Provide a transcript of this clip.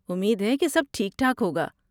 امید ہے کہ سب ٹھیک ٹھاک ہوگا۔